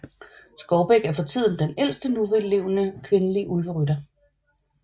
Skovbæk er for tiden den ældste nulevende kvindelige Ulverytter